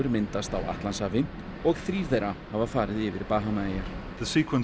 myndast á Atlantshafi og þrír þeirra hafa farið yfir Bahamaeyjar